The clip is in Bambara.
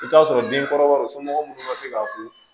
I bɛ t'a sɔrɔ den kɔrɔbaw somɔgɔ minnu ma se k'a ko